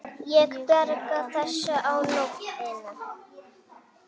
Ég bjargar þessu á nóinu.